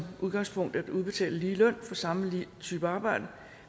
udgangspunktet skal udbetales lige løn for samme type arbejde